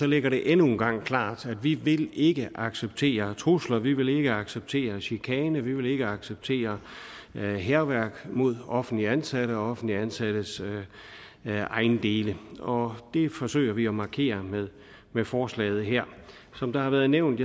ligger det endnu en gang klart at vi ikke acceptere trusler at vi ikke vil acceptere chikane at vi ikke vil acceptere hærværk mod offentligt ansatte og offentligt ansattes ejendele og det forsøger vi at markere med forslaget her som det har været nævnt